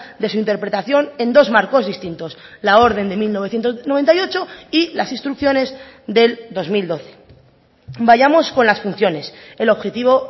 de su interpretación en dos marcos distintos la orden de mil novecientos noventa y ocho y las instrucciones del dos mil doce vayamos con las funciones el objetivo